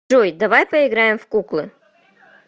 джой давай поиграем в куклы